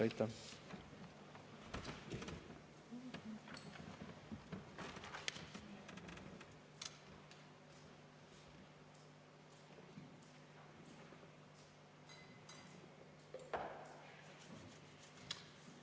Aitäh!